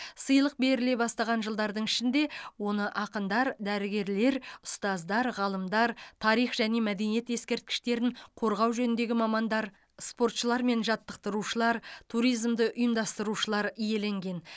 сыйлық беріле бастаған жылдардың ішінде оны ақындар дәрігерлер ұстаздар ғалымдар тарих және мәдениет ескерткіштерін қорғау жөніндегі мамандар спортшылар мен жаттықтырушылар туризмді ұйымдастырушылар иеленген